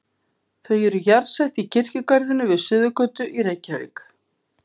Þau eru jarðsett í kirkjugarðinum við Suðurgötu í Reykjavík.